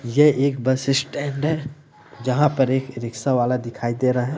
ये एक bus stand है जहां पर एक रिक्शा वाला दिखाई दे रहा हैं।